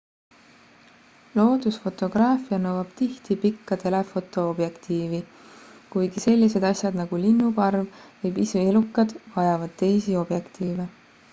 loodusfotograafia nõuab tihti pikka telefoto objektiivi kuigi sellised asjad nagu linnuparv või pisielukad vajavad teisi objektiive